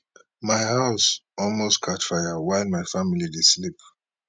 my house almost catch fire while my family dey sleep